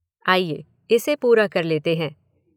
आइए इसे पूरा कर लेते हैं